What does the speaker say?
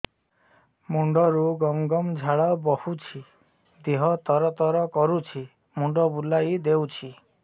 ମୁଣ୍ଡରୁ ଗମ ଗମ ଝାଳ ବହୁଛି ଦିହ ତର ତର କରୁଛି ମୁଣ୍ଡ ବୁଲାଇ ଦେଉଛି